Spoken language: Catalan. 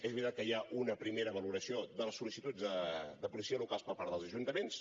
és veritat que hi ha una primera valoració de les sol·licituds de policies locals per part dels ajuntaments